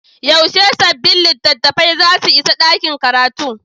Yaushe sabbin littattafai za su isa ɗakin karatu?